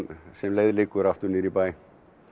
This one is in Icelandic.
sem leið liggur aftur niður í bæ